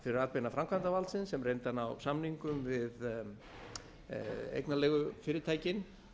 fyrir atbeina framkvæmdarvaldsins sem reyndi að ná samningum við eignarleigufyrirtækin